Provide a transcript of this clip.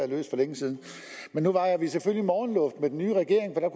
løst for længe siden men nu vejrer vi selvfølgelig morgenluft med den nye regering for